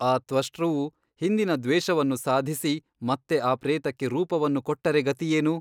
ಆ ತ್ವಷ್ಟೃವು ಹಿಂದಿನ ದ್ವೇಷವನ್ನು ಸಾಧಿಸಿ ಮತ್ತೆ ಆ ಪ್ರೇತಕ್ಕೆ ರೂಪವನ್ನು ಕೊಟ್ಟರೆ ಗತಿಯೇನು?